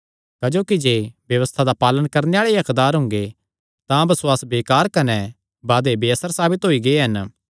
क्जोकि जे व्यबस्था दा पालण करणे आल़े ई हक्कदार हुंगे तां बसुआस बेकार कने वादे बेअसर साबित होई गै हन